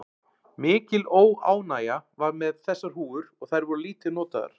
Mikil óánægja var með þessar húfur og þær voru lítið notaðar.